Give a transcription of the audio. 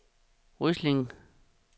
Ryslinge